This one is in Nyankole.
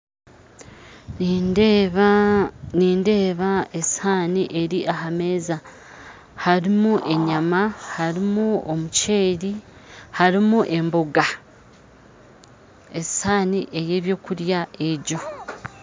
Nindeeba esihaani eri ahameeza harimu enyama harimu omukyeri harimu emboga esihaani eyebyokurya egyo